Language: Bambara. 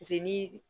ni